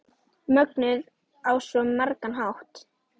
Mögnuð á svo margan hátt.